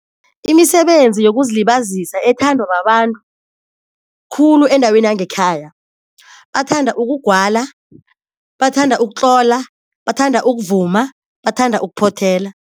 Imisebenzi yokuzilibazisa ethandwa babantu khulu endaweni yangekhaya, bathanda ukugwala, bathanda ukutlola, bathanda ukuvuma, bathanda ukuphothela.